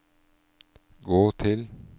gå til